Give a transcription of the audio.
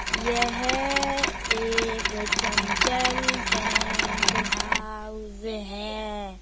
यह एक Chanchal tent house है।